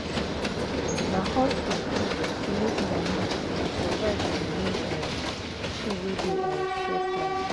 na hustle to make money and survive be di main um thing wey dey um stress life.